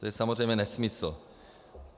To je samozřejmě nesmysl.